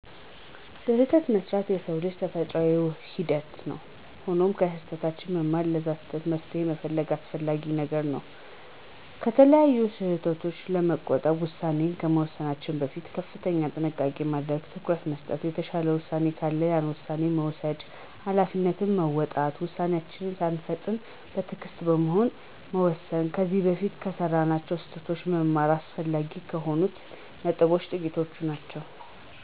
ስህተት መሥራት የሰው ልጅ ተፈጥሮአዊ ሂደት ነው። ሆኖም ከስህተታችን በመማር ለዛ ስህተት መፍትሄ መፈለግ አስፈላጊ ነገር ነው። ከተለያዩ ስህተቶች ለመቆጠብ ውሳኔ ከመወሰናችን በፊት ከፍተኛ ጥንቃቄ ማድረግ፣ ትኩረት መስጠት፣ የተሻለ ውሳኔ ካለ ያን ውሳኔ መውሰድ፣ ሀላፊነትን መወጣት፣ ውሳኔወችን ሳንፈጥን በትእግስት በመሆን መወሰን፣ ከዚ በፊት ከሰራናቸው ስህተቶች መማር አስፈላጊ ከሆኑት ነጥቦች ጥቂቶቹ ናቸው።